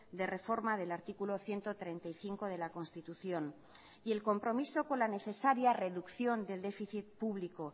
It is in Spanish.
de reforma del artículo ciento treinta y cinco de la constitución y el compromiso con la necesaria reducción del déficit público